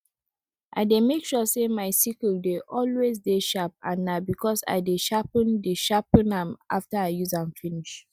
i dey make sure say my sickle dey always dey sharp and na because i dey sharpen dey sharpen am after i use am finish